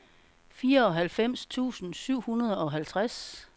fireoghalvfems tusind syv hundrede og halvtreds